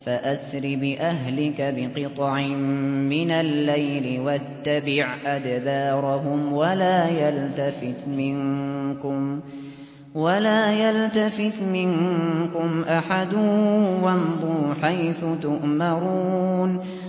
فَأَسْرِ بِأَهْلِكَ بِقِطْعٍ مِّنَ اللَّيْلِ وَاتَّبِعْ أَدْبَارَهُمْ وَلَا يَلْتَفِتْ مِنكُمْ أَحَدٌ وَامْضُوا حَيْثُ تُؤْمَرُونَ